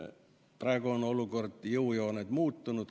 Praegu on olukord ja jõujooned muutunud.